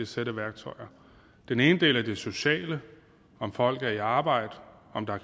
sæt værktøjer den ene del er det sociale om folk er i arbejde om der